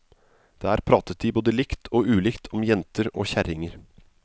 Der pratet de både likt og ulikt om jenter og kjerringer.